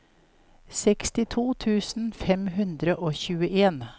sekstito tusen fem hundre og tjueen